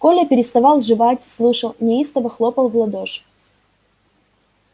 коля переставал жевать слушал неистово хлопал в ладоши